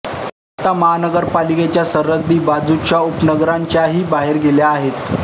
आता महापालिकेच्या सरहद्दी बाजूच्या उपनगरांच्याही बाहेर गेल्या आहेत